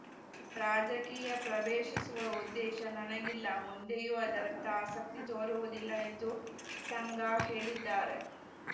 ರಾಜಕೀಯ ಪ್ರವೇಶಿಸುವ ಉದ್ದೇಶ ನನಗಿಲ್ಲ ಮುಂದೆಯೂ ಅದರತ್ತ ಆಸಕ್ತಿ ತೋರುವುದಿಲ್ಲ ಎಂದು ಸಂಗಾ ಹೇಳಿದ್ದಾರೆ